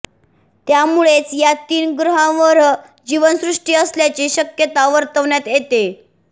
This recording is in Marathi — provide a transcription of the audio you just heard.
त्यामुळेच या तीन ग्रहांवहर जीवनसृष्टी असल्याची शक्यता वर्तवण्यात येतेय